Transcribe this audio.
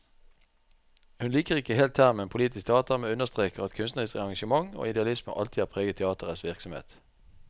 Hun liker ikke helt termen politisk teater, men understreker at kunstnerisk engasjement og idealisme alltid har preget teaterets virksomhet.